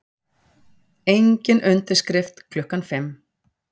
Engin undirskrift klukkan fimm